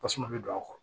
Tasuma bɛ don a kɔrɔ